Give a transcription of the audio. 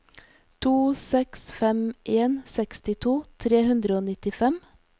to seks fem en sekstito tre hundre og nittifem